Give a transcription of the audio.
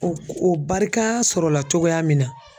O o barikaa sɔrɔla cogoya min na